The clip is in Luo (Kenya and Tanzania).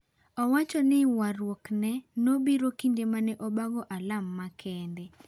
Owachoni waruok ne nobiro kinde mane abago alam makende.